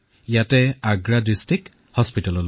ইয়াতেই আগ্ৰাৰ জিলা চিকিৎসালয়ত